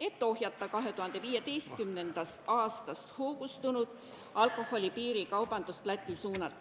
et ohjeldada 2015. aastast hoogustunud alkoholi piirikaubandust.